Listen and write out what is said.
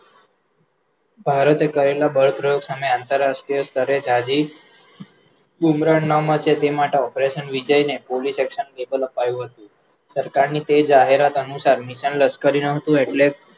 ભારતીયે કરેલા બળ પ્રયોગ સામે અતરરાષ્ટ્રીય સ્તરે જાજી ઇમરના માચે તે માટે operation વિચારીને પોલીસ action label અપાયું હતું સરકારની તે જાહેરાત અનુસાર mission લશકરી નામ હતું એટલે